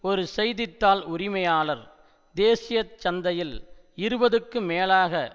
ஒரு செய்தி தாள் உரிமையாளர் தேசிய சந்தையில் இருபதுக்கும் மேலாக